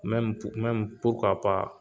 mɛmu purukuwa pa